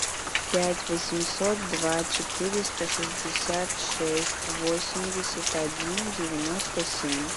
пять восемьсот два четыреста шестьдесят шесть восемьдесят один девяносто семь